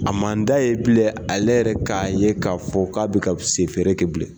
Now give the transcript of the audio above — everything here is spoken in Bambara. A man d'a ye bilen ale yɛrɛ k'a ye k'a fɔ k'a bɛ ka sɛ feere kɛ bilen.